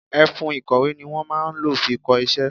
Ẹfun ìkọ̀wé ni wọn máa ń lo fi kọ iṣẹ́.